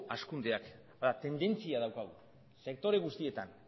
hazkundea tendentzia daukagu sektore guztietan